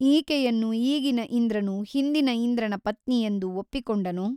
ಈಕೆಯನ್ನು ಈಗಿನ ಇಂದ್ರನು ಹಿಂದಿನ ಇಂದ್ರನ ಪತ್ನಿಯೆಂದು ಒಪ್ಪಿಕೊಂಡನೋ?